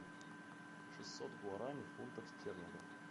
шестьсот гуарани в фунтах стерлингов